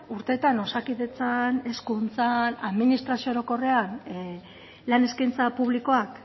urteetan osakidetzan hezkuntzan administrazio orokorrean lan eskaintza publikoak